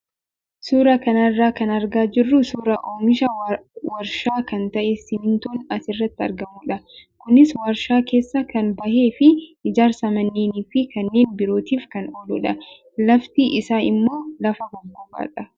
Suuraa kana irraa kan argaa jirru suuraa oomisha warshaa kan ta'e simmintoon asirratti argamudha. Kunis warshaa keessaa kan bahee fi ijaarsa manneenii fi kanneen birootiif kan ooludha. Lafti isaa immoo lafa gogaadha.